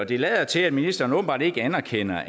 det lader til at ministeren åbenbart ikke anerkender